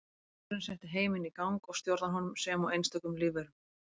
Hugurinn setti heiminn í gang og stjórnar honum sem og einstökum lífverum.